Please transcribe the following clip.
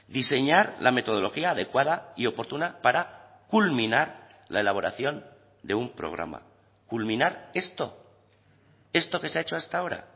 diseñar la metodología adecuada y oportuna para culminar la elaboración de un programa culminar esto esto que ese ha hecho hasta ahora